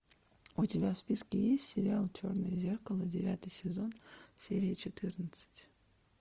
у тебя в списке есть сериал черное зеркало девятый сезон серия четырнадцать